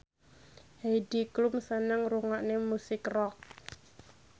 Heidi Klum seneng ngrungokne musik rock